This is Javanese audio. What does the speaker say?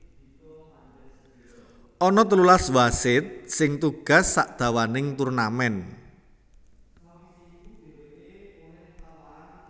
Ana telulas wasit sing tugas sadawaning turnamen